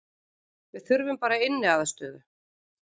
Við þurfum bara inniaðstöðu